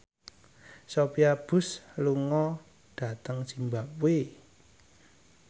Sophia Bush lunga dhateng zimbabwe